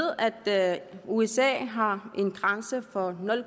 at usa har en grænse på nul